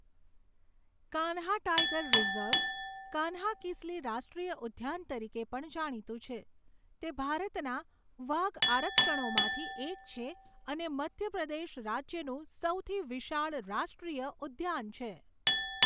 Kanha tiger reserve, કાન્હાકિસલી રાષ્ટ્રીય ઉદ્યાન તરીકે પણ જાણીતું છે, તે ભારતના વાઘ આરક્ષણોમાંથી એક છે અને મધ્ય પ્રદેશ રાજ્યનું સૌથી વિશાળ રાષ્ટ્રીય ઉદ્યાન છે.